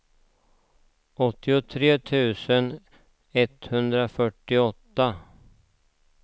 åttiotre tusen etthundrafyrtioåtta